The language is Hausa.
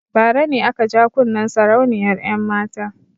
Bara ne aka ja kunnen sarauniyar 'yanmata.